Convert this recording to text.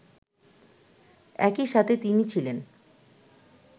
একইসাথে তিনি ছিলেন